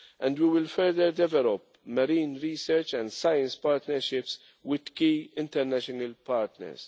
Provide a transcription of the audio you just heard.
We will further develop marine research and science partnerships with key international partners.